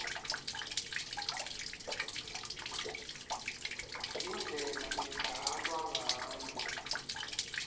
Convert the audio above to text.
indlela ledlalwa ngayo